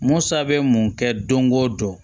Musa bɛ mun kɛ don go don